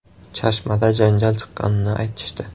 Chashmada janjal chiqqanini aytishdi.